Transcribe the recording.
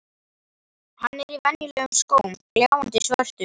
Hann er í venjulegum skóm, gljáandi svörtum.